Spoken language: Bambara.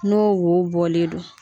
N'o wo bɔlen do.